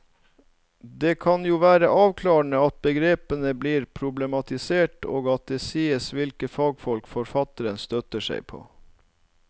Det kan jo være avklarende at begrepene blir problematisert og at det sies hvilke fagfolk forfatteren støtter seg på.